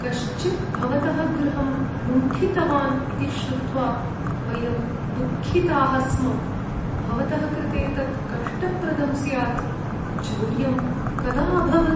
कश्चित् भवतः गृहं लुण्ठितवान् इति श्रुत्वा वयं दुःखिताः स्म, भवतः कृते तत् कष्टप्रदं स्यात्। चौर्यं कदा अभवत्?